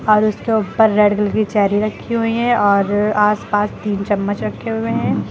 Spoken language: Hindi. और उसके ऊपर रेड कलर की चेरी रखी हुई है और आसपास तीन चम्मच रखे हुए हैं।